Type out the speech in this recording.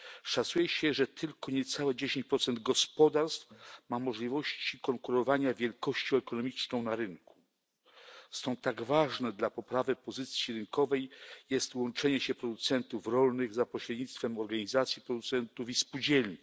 Szacuje się, że tylko niecałe 10 gospodarstw ma możliwości konkurowania wielkością ekonomiczną na rynku. Stąd tak ważne dla poprawy pozycji rynkowej jest łączenie się producentów rolnych za pośrednictwem organizacji producentów i spółdzielni.